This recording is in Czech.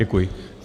Děkuji.